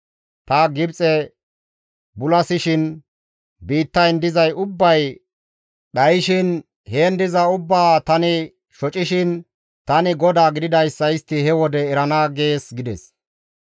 Ta Gibxe bulasishin biittayn dizay ubbay dhayshin, heen diza ubbaa tani shocishin, tani GODAA gididayssa istti he wode erana› gees» gides.